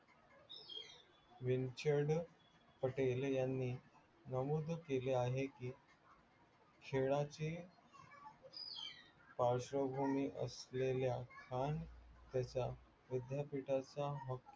विनचर्रदड पटेल यांनी नमूद केले आहे कि खेळाचे पार्श्वंभूमी असलेल्या खान त्याच्या विद्यापिठाचा